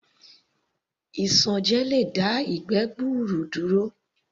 Isanje lè dá ìgbẹ́ gbuuru duro